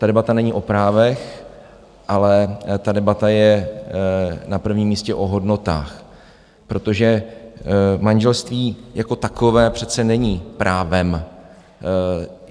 Ta debata není o právech, ale ta debata je na prvním místě o hodnotách, protože manželství jako takové přece není právem.